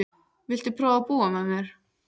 Viltu prófa að búa með mér.